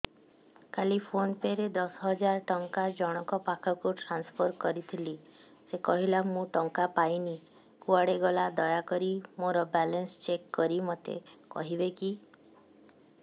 କାଲି PhonePe ରେ ଦଶ ହଜାର ଟଙ୍କା ଜଣକ ପାଖକୁ ଟ୍ରାନ୍ସଫର୍ କରିଥିଲି ସେ କହିଲା ମୁଁ ଟଙ୍କା ପାଇନି କୁଆଡେ ଗଲା ଦୟାକରି ମୋର ବାଲାନ୍ସ ଚେକ୍ କରି ମୋତେ କହିବେ କି